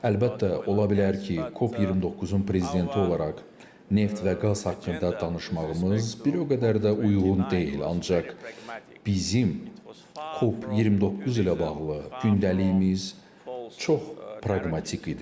Əlbəttə, ola bilər ki, COP29-un prezidenti olaraq neft və qaz haqqında danışmağımız bir o qədər də uyğun deyil, ancaq bizim COP29 ilə bağlı gündəliyimiz çox praqmatik idi.